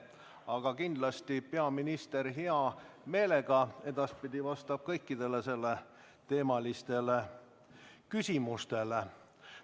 Aga kindlasti vastab peaminister edaspidi hea meelega kõikidele selleteemalistele küsimustele.